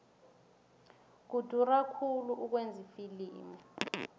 kudura khulu ukwenza ifilimu